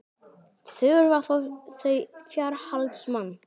Þurfa þau fjárhaldsmann?